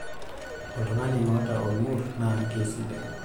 oltung'ani oota olng'urr naa kesidai